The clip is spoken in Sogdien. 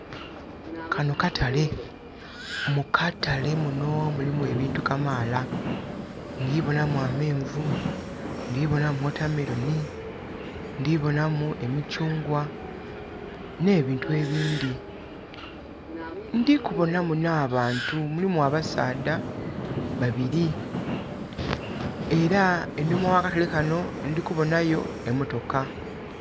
Kano katale. Mu katale muno mulimu ebintu kamaala. Ndhi boonamu ameenvu, ndhi boonamu watermelon, ndhi boonamu emikyungwa, nh'ebintu ebindhi. Ndhi kuboonamu nh'abantu mulimu abasaadha babili. Era enhuma ya katale kano ndhi kuboona yo emotoka.